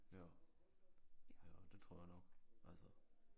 Ja ja det tror jeg nok altså